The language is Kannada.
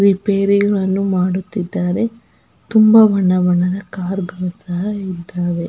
ರೆಪೇರಿ ಯನ್ನು ಮಾಡುತ್ತಿದ್ದ್ದಾರೆ. ತುಂಬಾ ಬಣ್ಣ ಬಣ್ಣದ ಕಾರ್ ಗಳು ಸಹ ಇದ್ದವೇ.